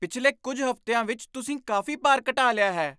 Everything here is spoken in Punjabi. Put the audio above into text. ਪਿਛਲੇ ਕੁੱਝ ਹਫ਼ਤਿਆਂ ਵਿੱਚ ਤੁਸੀਂ ਕਾਫ਼ੀ ਭਾਰ ਘਟਾ ਲਿਆ ਹੈ!